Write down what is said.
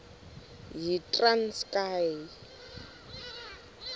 yitranskayi